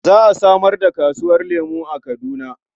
Za a samar da kasuwar lemo a Kaduna.